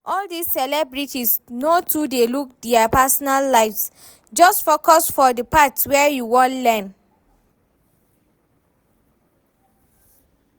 All dis celebrities, no too dey look dia personal lives, just focus for the part wey you wan learn